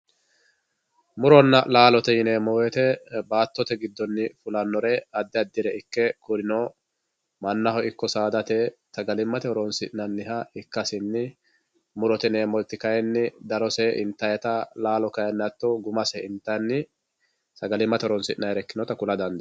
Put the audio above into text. muronna laaloteb yineemo woyiite baattote giddonni fulannore addi addire ikke kurino mannaho ikko saadate sagalimmate horonsi'nanniha ikkasinni murote yineemoti kayiini darose intaayiita laalo kayiini hatto gumase intanni sagalimate horonsi'nayiire ikkinota kula dandeemo.